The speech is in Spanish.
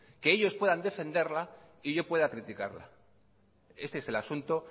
que ellos puedan defenderla y yo pueda criticarla ese es el asunto